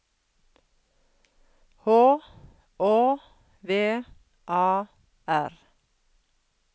H Å V A R